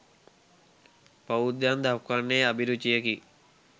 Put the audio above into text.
බෞද්ධයන් දක්වන්නේ අභිරුචියකි.